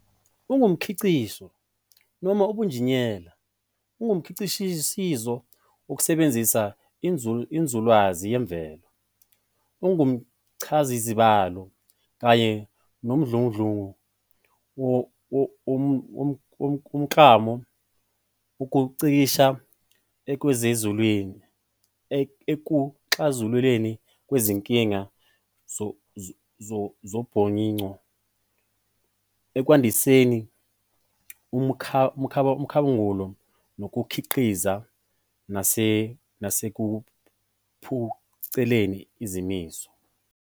UmNgcikisho, noma ubunjineyela, ungumkhwishizo wokusebenzisa inzululwazi yemvelo, umchazazibalo, kanye nomdludlungu womklamo wokungcikisha ekuxazululweni kwezinkinga zobunyoninco, ekwandiseni umkhabangulo nokukhiqiza, nasekuphuculeni izimiso.